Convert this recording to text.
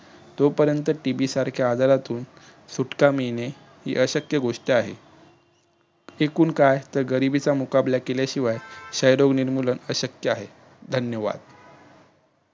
तोपर्यंत TB सारख्या आजारातून सुटका मिळणे अशक्य गोष्ट आहे. एकूण काय तर गरिबीचा मुकाबला केल्याशिवाय निर्मुलन अशक्य आहे धन्यवाद.